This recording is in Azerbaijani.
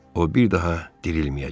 O bir daha dirilməyəcək.